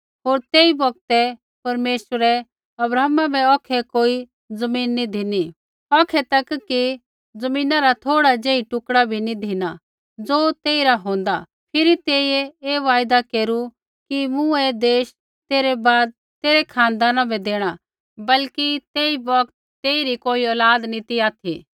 होर तेई बौगतै परमेश्वरै अब्राहमा बै औखै कोई ज़मीन नी धिनी औखै तक कि ज़मीना रा थोड़ा ज़ेही टुकड़ा बी नी धिना ज़ो तेई रा होंदा फिरी तेइयै ऐ वायदा केरु कि मूँ ऐ देश तेरै बाद तेरै खानदाना बै देणा बल्कि तेई बौगत तेइरी कोई औलाद नी ती ऑथि